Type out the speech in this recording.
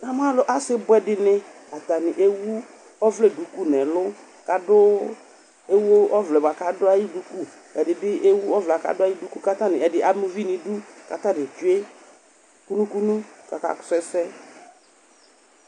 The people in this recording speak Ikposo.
Na mʊ alʊ asibwɛ dɩnɩ Atanɩ ewu ɔvlɛ duku nʊ ɛlʊ, kewu ɔvlɛ kʊ adʊ ayʊ duku, ɛdɩnɩ bɩ ama uvi nʊ idu kʊ atanɩ tsoe kunu kunu kʊ akasʊ ɛsɛ